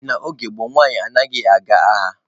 N'oge gboo, nwaanyị anaghị aga agha.